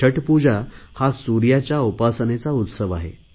छठ पूजा हा सुर्याच्या उपासनेचा उत्सव आहे